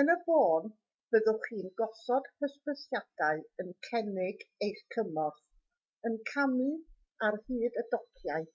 yn y bôn byddwch chi'n gosod hysbysiadau yn cynnig eich cymorth yn camu ar hyd y dociau